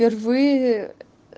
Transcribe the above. впервые